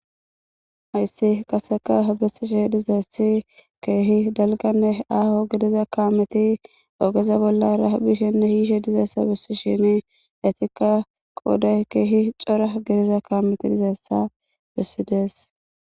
ayssi qaseka hobesishe dizaessi keehi dalganne aaho gedeza kaameti ogeza bollara bishenne hiishe dizeessa bessi shene eetika qooday keehi cora gedeza kaameti dizaessa bessidees